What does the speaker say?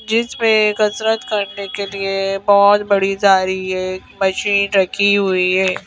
जिसपे कसरत करने के लिए बहोत बड़ी जा रही है एक मशीन रखी हुई है।